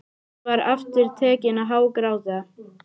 Hún var aftur tekin að hágráta.